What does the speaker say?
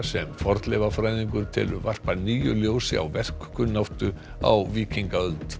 sem fornleifafræðingur telur varpa nýju ljósi á verkkunnáttu á víkingaöld